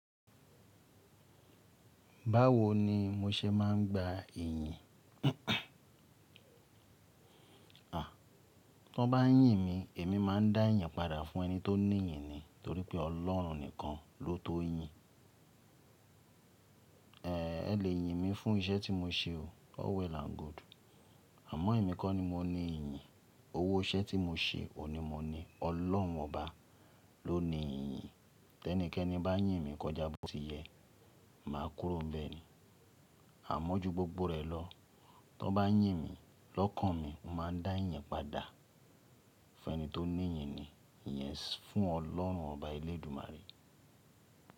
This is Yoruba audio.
Báwo ni mo ṣe máa ń gba iyin? A! Tọ n bá yìn mi, èmi máa ń dá ìyin padà fún ẹni tó ní iyin ni. Torí pé Ọlọ́run nìkan ló tó yin. En! È lè yìn mi fún iṣẹ́ tí mo ṣe o. All well and good. Àmọ́ èmi kọ́ ni mo ní iyin. Owó iṣẹ́ tí mo ṣe òun ní mo ní. Ọlọ́run ọba ló ní iyin. Tẹ́nìkẹ́ni bá yìn mi kọjá bó ti yẹ. Màá kúrò nbẹ́ ni. Àmọ́ ju gbogbo rẹ̀ lọ, tọ n bá yìn mi lọ́kàn mi, mo màá dá ìyin padà fún ẹni tó ní iyin ni. Yes, fún Ọlọ́run ọba elédúmárè.